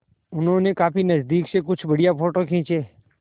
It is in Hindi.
उन्होंने काफी नज़दीक से कुछ बढ़िया फ़ोटो खींचे